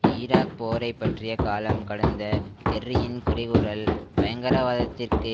Iraq போரை பற்றிய காலம் கடந்த கெர்ரியின் குறைகூறல் பயங்கரவாதத்திற்கு